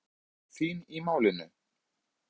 Hver var aðkoma þín að málinu?